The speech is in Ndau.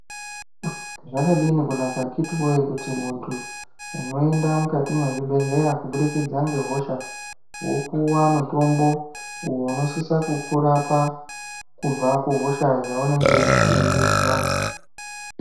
Zvakadini kunaka akiti woye kuti muntu unoenda mukati mwezvibhedhlera kuburikidza ngehosha wopuwa mutombo uwo unosisa kukurapa kubva kuhosha yainenge weizwa.